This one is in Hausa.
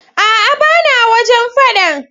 Aa bana wajen faɗan.